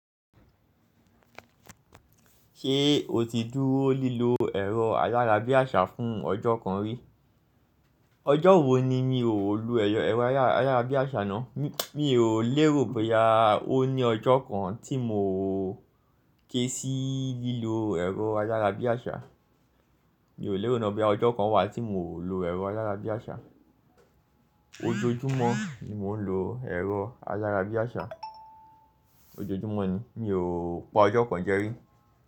Ṣé o ti dúró lílo ẹ̀rọ ayárabíàṣá fún ọjọ́ kan rí? Ọjọ́ wo ni mi ò lo ẹ̀rọ ayárabíàṣá náà? Mi ò lérò bóyá ó ní ọjọ́ kan tí mo ké sí lílo ẹ̀rọ ayárabíàṣá. Mi ò lérò ná bí ọjọ́ kan wà tí mo ò lo ẹ̀rọ ayárabíàṣá. Ojoojúmọ́ ni mò ń lo ẹ̀rọ ayárabíàṣá. Ojoojúmọ́ ni, mi ò pa ọjọ́ kan jẹ́ rí.